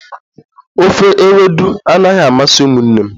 Ofe ewedu anaghi amasị umunne m